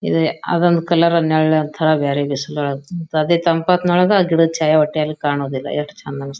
ಇದೆ ಅದೊಂದು ಕಲರ್ ನೆಳ್ಳಿ ಅಂತೇಳಿ ಬ್ಯಾರೆ ಬಿಸಿಲ ವಳಗ್. ಅದೇ ತಂಪ ಹೊತ್ನ್ಯಾಯೊಳಗ ಗಿಡದ್ ಛಾಯಾ ಕಾಣುದಿಲ್ಲ. ಯೇಟ್ ಚಂದ್ ಅನಾಸ್--